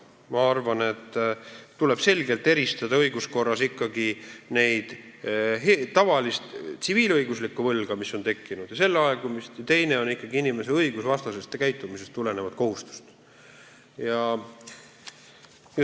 Ma arvan, et õiguskorras tuleb selgelt eristada ikkagi tavalist tsiviilõiguslikku võlga, mis on tekkinud, ja inimese õigusvastasest käitumisest tulenevat kohustust.